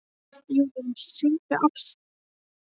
Júlíus, syngdu fyrir mig „Ástardúett“.